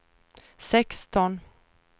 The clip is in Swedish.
sexton